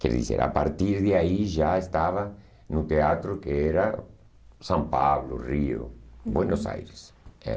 Quer dizer, a partir de aí já estava no teatro que era São Paulo, Rio, Buenos Aires.